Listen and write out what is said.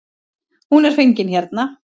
Hún er fengin hérna.